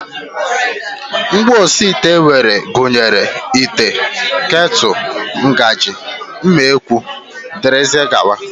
Ngwaosiite e nwere gụnyere ite, ketụl, ngaji, mma ekwu dgz